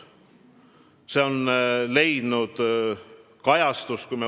See on leidnud kajastust.